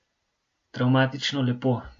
Travmatično lepo.